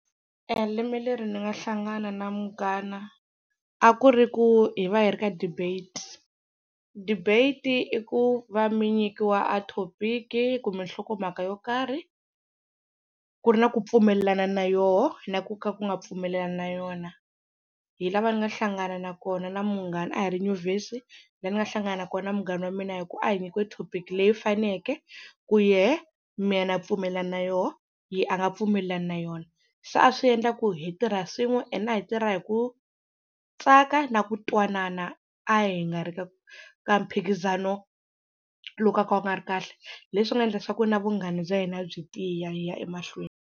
E lembe leri ni nga hlangana na munghana a ku ri ku hi va hi ri ka debate, debate i ku va mi nyikiwa a thopiki kumbe nhlokomhaka yo karhi ku ri na ku pfumelelana na yoho na ku ka ku nga pfumelelana na yona. Hi lava ni nga hlangana na kona na munghana a hi ri nyuvhesi na ni nga hlangana na kona na munghana wa mina hi ku a hi nyikiwe thopiki leyi faneke ku yehe mina na pfumelana na yoho yehe a nga pfumelelani na yona. Se a swi endla ku hi tirha swin'we ene a hi tirha hi ku tsaka na ku twanana a hi nga ri ka ka mphikizano loko ka ku nga ri kahle, hi leswi nga endla leswaku na vunghana bya hina byi tiya hi ya emahlweni.